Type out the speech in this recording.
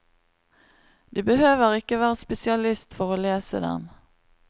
Du behøver ikke være spesialist for å lese dem.